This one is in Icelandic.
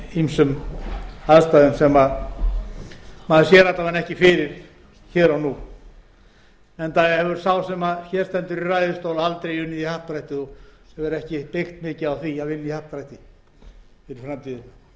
ýmsum aðstæðum sem maður sér alla vega ekki fyrir hér og nú enda hefur sá sem hér stendur í ræðustól aldrei unnið í happdrætti og hefur ekki byggt mikið á því að vinna í happdrætti fyrir framtíðina niðurstaðan getur